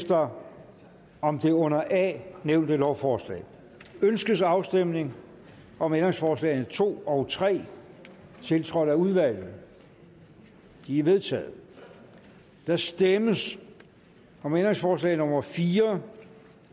der om det under a nævnte lovforslag ønskes afstemning om ændringsforslag nummer to og tre tiltrådt af udvalget de er vedtaget der stemmes om ændringsforslag nummer fire